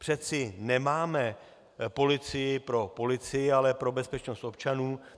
Přeci nemáme policii pro policii, ale pro bezpečnost občanů.